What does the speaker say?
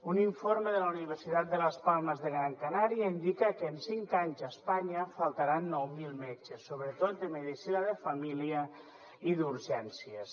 un informe de la universitat de las palmas de gran canaria indica que en cinc anys a espanya faltaran nou mil metges sobretot de medicina de família i d’urgències